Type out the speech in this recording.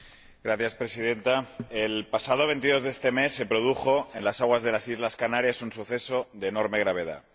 Señora Presidenta, el pasado 22 de este mes se produjo en las aguas de las islas Canarias un suceso de enorme gravedad.